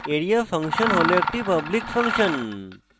area function হল একটি public function